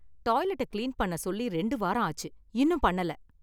டாய்லெட்ட clean பண்ணச் சொல்லி ரெண்டு வாரம் ஆச்சு, இன்னும் பண்ணல.